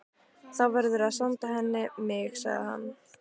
Þá verðurðu að senda henni mig, sagði hann.